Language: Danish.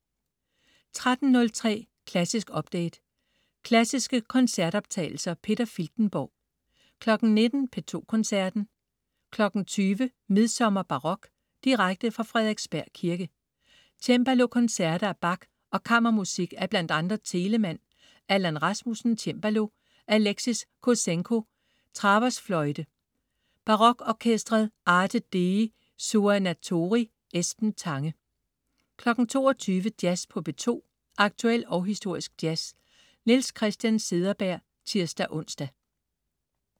13.03 Klassisk update. Klassiske koncertoptagelser. Peter Filtenborg 19.00 P2 Koncerten. 20.00 Midsommerbarok. Direkte fra Frederiksberg Kirke. Cembalokoncerter af Bach og kammermusik af bl.a. Telemann. Allan Rasmussen, cembalo. Alexis Kossenko, traversfløjte Barokorkesteret Arte dei Suonatori. Esben Tange 22.00 Jazz på P2. Aktuel og historisk jazz. Niels Christian Cederberg (tirs-ons)